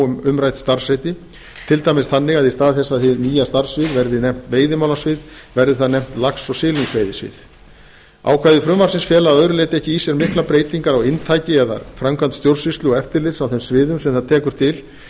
um umrædd starfsheiti til dæmis þannig að í stað þess að hið nýja starfssvið verði nefnt veiðimálasvið verði það nefnt lax og silungsveiðisvið ákvæði frumvarpsins fela að öðru leyti ekki í sér miklar breytingar á inntaki eða framkvæmd stjórnsýslu og eftirlits á þeim sviðum sem það tekur til